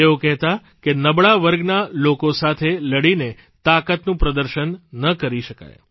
તેઓ કહેતા કે નબળા વર્ગના લોકો સાથે લડીને તાકાતનું પ્રદર્શન ન કરી શકાય